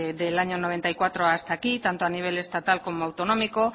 del año mil novecientos noventa y cuatro hasta aquí tanto a nivel estatal como autonómico